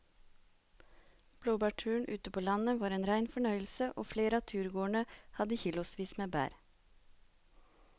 Blåbærturen ute på landet var en rein fornøyelse og flere av turgåerene hadde kilosvis med bær.